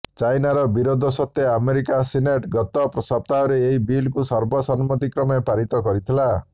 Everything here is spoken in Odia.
ଚାଇନାର ବିରୋଧ ସତ୍ତ୍ୱେ ଆମେରିକା ସିନେଟ ଗତ ସପ୍ତାହରେ ଏହି ବିଲ୍କୁ ସର୍ବସମ୍ମତିକ୍ରମେ ପାରିତ କରିଥିଲା